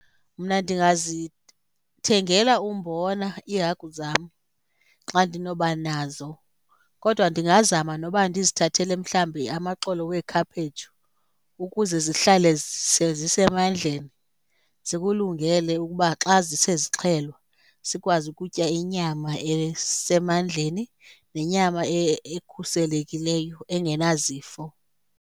Mna ndingazithengela umbona iihagu zam xa ndinoba nazo. Kodwa ndingazama noba ndizithathele mhlawumbi amaxolo weekhaphetshu ukuze zihlale zisemandleni zikulungele ukuba xa zisezixhelwa, sikwazi ukutya inyama esemandleni nenyama ekhuselekileyo engenazifo.